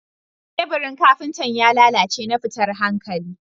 Teburin Kafintan ya lallace na fitan hankalli